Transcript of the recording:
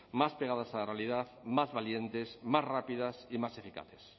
más pegadas a la realidad más valientes más rápidas y más eficaces